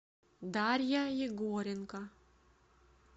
дарья егоренко